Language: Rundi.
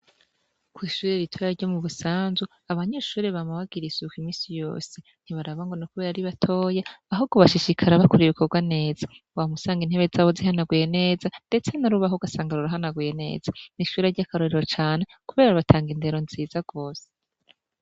Kwishure ritoya ryo mubusanzu abanyeshure bama bagira isuku iminsi yose ntibaraba ngo ni kubera ari batoya ahubwo bashishikara bakora Ibikorwa neza uhora usanga intebe zabo zihanaguye neza ndatse n'urubaho ugasanga rurahanaguye neza eka nishure ryakarorero cane kubera batanga Indero nziza gose.